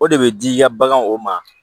O de bɛ di i ka bagan o ma